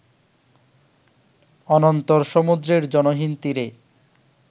অনন্তর সমুদ্রের জনহীন তীরে